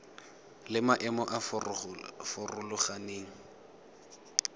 le maemo a a farologaneng